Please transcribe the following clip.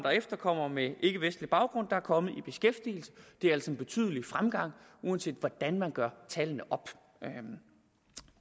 og efterkommere med ikkevestlig baggrund der er kommet i beskæftigelse det er altså en betydelig fremgang uanset hvordan man gør tallene op